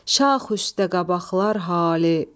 Şax üstə qabaqlar hali,